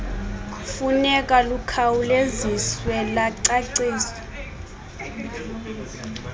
funeka lukhawuleziswe lwacaciswa